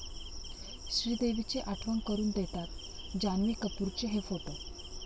श्रीदेवीची आठवण करून देतात, जान्हवी कपूरचे 'हे' फोटो